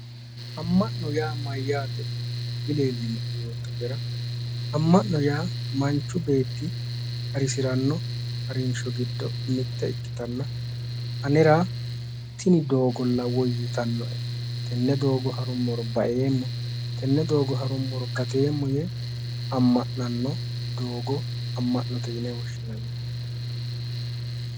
Ama'no yaa Mayyaate dileelinoe yoottotera ama'nono yaa manichi beeti harisiranno harinisho giddo mitte ikkitana anera tini doogolla woyitannoe tenne doogo harummoro baeemo tenne doogo harummoro gateemo yee amma'nono doogo amma'note yine woshinanni